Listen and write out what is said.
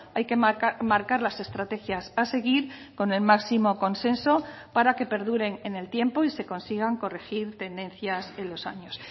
hay que marcar las estrategias a seguir con el máximo consenso para que perduren en el tiempo y se consigan corregir tendencias en los años